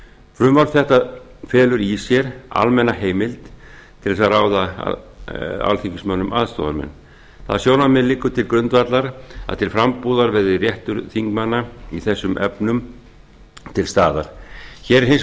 frumvarp þetta felur í sér almenna heimild til þess að ráða alþingismönnum aðstoðarmenn það sjónarmið liggur til grundvallar að til frambúðar verði réttur þingmanna í þessum efnum jafn hér er hins